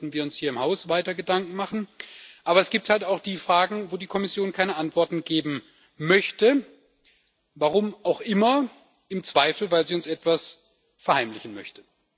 Dazu sollten wir uns hier im Haus weiter Gedanken machen. Aber es gibt halt auch die Anfragen, wo die Kommission keine Antworten geben möchte, warum auch immer, im Zweifelsfall, weil sie uns etwas verheimlichen möchte.